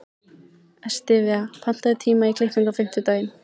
Estiva, pantaðu tíma í klippingu á fimmtudaginn.